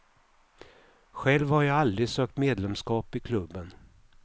Själv har jag aldrig sökt medlemskap i klubben.